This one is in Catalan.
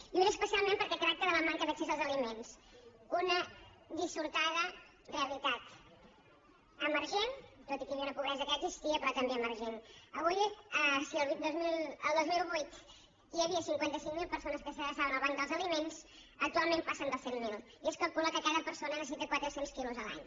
i ho és especialment perquè tracta de la manca d’accés als aliments una dissortada realitat emergent tot i que hi havia una pobresa que ja existia però també emergent si el dos mil vuit hi havia cinquanta cinc mil persones que s’adreçaven al banc dels aliments actualment passen dels cent mil i es calcula que cada persona en necessita quatre cents quilos l’any